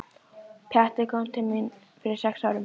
Pjatti kom til mín fyrir sex árum.